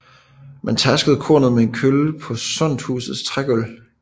Man tærskede kornet med en kølle på sodnhusets trægulv